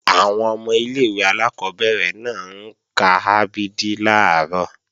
Àwọn ọmọ ilé-ìwé alákọ́bẹ̀rẹ̀ náà ń ka a b d làárọ̀